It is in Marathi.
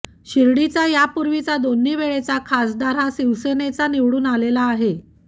शिर्डीचा यापूर्वीचा दोन्ही वेळचा खासदार हा शिवसेनेचा निवडून आलेला आहे